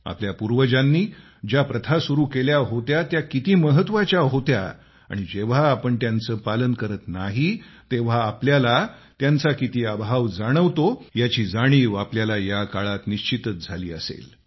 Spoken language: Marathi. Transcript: आपल्या पूर्वजांनी ज्या प्रथा सुरू केल्या होता त्या किती महत्त्वाच्या होत्या आणि जेव्हा आपण त्यांचे पालन करत नाही तेव्हा आपल्याला त्यांचा किती अभाव जाणवतो याची जाणीव आपल्याला या काळात निश्चितच झाली असेल